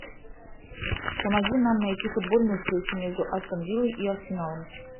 помоги нам найти футбольную встречу между астон виллой и арсеналом